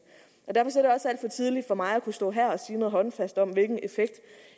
og tidligt for mig at kunne stå her og sige noget håndfast om hvilken effekt